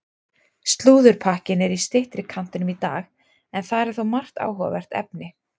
Slúðurpakkinn er í styttri kantinum í dag en þar er þó margt áhugavert efni.